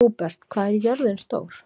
Húbert, hvað er jörðin stór?